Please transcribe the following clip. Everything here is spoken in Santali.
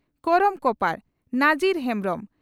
ᱠᱚᱨᱚᱢ ᱠᱚᱯᱟᱬ (ᱱᱟᱡᱤᱨ ᱦᱮᱢᱵᱽᱨᱚᱢ)